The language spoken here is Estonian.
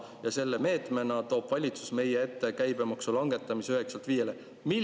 Ja selle meetmena toob valitsus meie ette käibemaksu langetamise 9%‑lt 5%‑le.